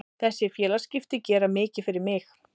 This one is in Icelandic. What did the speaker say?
Þessi félagaskipti gera mikið fyrir mig.